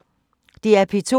DR P2